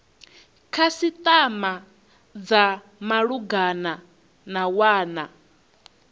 khasitama dza malugana na wana